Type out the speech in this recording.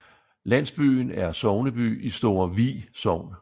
Landsbyen er sogneby i Store Vi Sogn